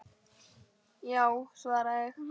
Já, svara ég.